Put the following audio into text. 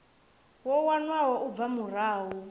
yo wanwaho u bva murahu